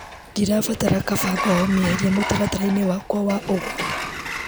Ndirabatara kabangoho mĩeherie mũtaratara-inĩ wakwa wa ũgũri .